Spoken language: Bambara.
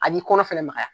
A b'i kɔnɔ fɛnɛ magaya